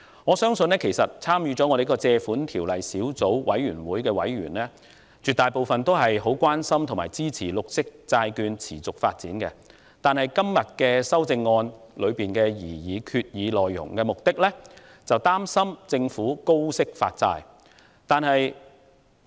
我相信，絕大部分根據《借款條例》第31條提出的擬議決議案小組委員會也很關心和支持綠色債券的持續發展，但議員今天提出修訂議案，是因為擔心政府會高息發債。